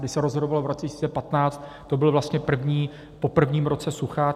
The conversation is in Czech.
Když se rozhodovalo v roce 2015, to bylo vlastně po prvním roce sucha.